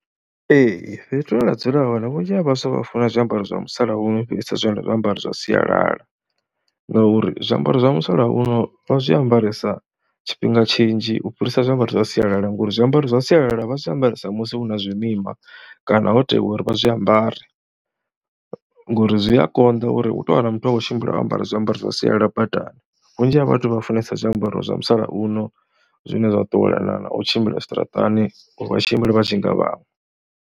Ee fhethu hune nda dzula hone vhunzhi ha vhaswa vha funa zwiambaro zwa musalauno u fhirisa zwiambaro zwa sialala ngauri zwiambaro zwa musalauno vha zwi ambaresa tshifhinga tshinzhi u fhirisa zwiambaro zwa sialala ngori zwiambaro zwa sialala vha zwi ambaresa musi hu na zwimima. Kana ho tewa uri vha zwi ambare ngori zwi a konḓa uri u tou wana muthu a khou tshimbila o ambara zwiambaro zwa sialala badani, vhunzhi ha vhathu vha funesa zwiambaro zwa musalauno zwine zwa ṱuwelana na u tshimbila zwiṱaraṱani uri vha tshimbile vha tshi nga vhaṅwe.